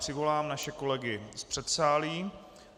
Přivolám naše kolegy z předsálí.